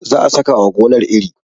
za a saka wa gonar iri